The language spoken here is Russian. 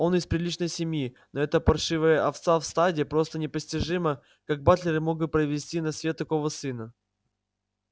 он из приличной семьи но эта паршивая овца в стаде просто непостижимо как батлеры мог бы провести на свет такого сына